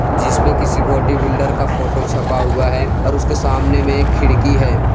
जिस पे किसी बॉडी बिल्डर का फोटो छपा हुआ है और उसके सामने में एक खिड़की है।